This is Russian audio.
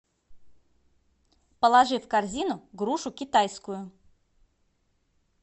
положи в корзину грушу китайскую